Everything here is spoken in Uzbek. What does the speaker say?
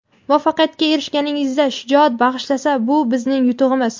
muvaffaqiyatga erishishingizda shijoat bag‘ishlasa – bu bizning yutug‘imiz!.